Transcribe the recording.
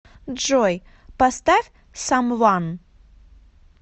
джой поставь самван